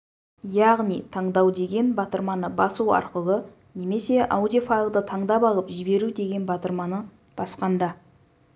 яғни таңдау деген батырманы басу арқылы немесе аудио файлды таңдап алып жіберу деген батырманы басқанда